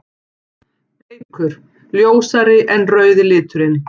Bleikur: Ljósari en rauði liturinn.